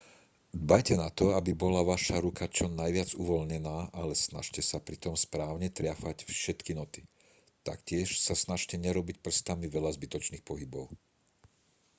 dbajte na to aby bola vaša ruka čo najviac uvoľnená ale snažte sa pritom správne triafať všetky noty taktiež sa snažte nerobiť prstami veľa zbytočných pohybov